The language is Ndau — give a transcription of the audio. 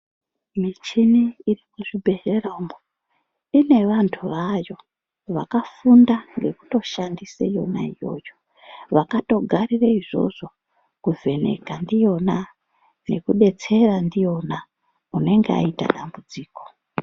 Michini irimuzvibhedhlera umo inevantu vayo vakafunda ngekutoshandise yona yoyo vakatogarire izvozvo kuvheneka ndiyona nekubetsera ndiyona unenge aita dambudziko.